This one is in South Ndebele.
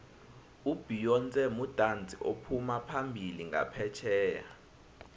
ubeyonce mudatsi ophumaphambili nqaphetjheya